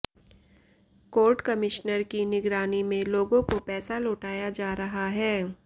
court commissioner की निगरानी में लोगों को पैसा लौटाया जा रहा है